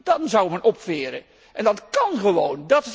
Dan zou men opveren en dat kan gewoon.